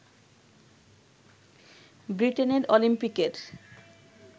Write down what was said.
বৃটেনের অলিম্পিকের